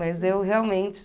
Mas eu realmente...